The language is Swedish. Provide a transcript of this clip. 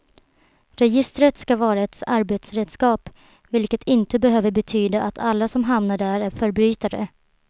Registret ska vara ett arbetsredskap, vilket inte behöver betyda att alla som hamnar där är förbrytare.